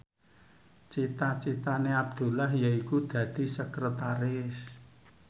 cita citane Abdullah yaiku dadi sekretaris